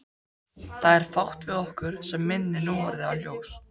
Það er fátt við okkur sem minnir núorðið á ljós.